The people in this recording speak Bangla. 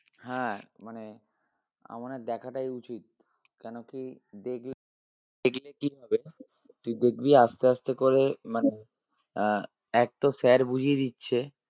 হ্যাঁ মানে আমার মনে হয় দেখাটাই উচিত কেন কি দেখলে সেগুলো যদি আসতে আসতে করে মানে আহ এক তো sir বুঝিয়ে দিচ্ছে